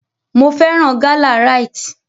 Mo fẹ́ràn gálà Rite.